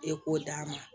E k'o d'a ma